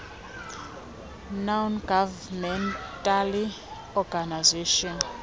non governmental organizations